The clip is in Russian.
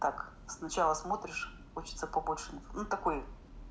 так сначала смотришь хочется побольше ну такой